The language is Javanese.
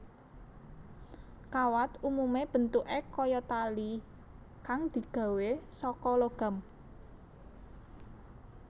Kawat umume bentuké kaya tali kang digawé saka logam